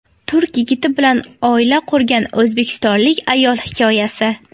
Turk yigiti bilan oila qurgan o‘zbekistonlik ayol hikoyasi.